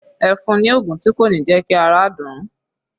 Ẹ fun ni oògùn tí kò ní jẹ́ kí ara dùn ún